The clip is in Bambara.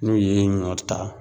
N'u ye ɲɔ ta.